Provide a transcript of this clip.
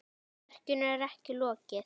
Verkinu er ekki lokið.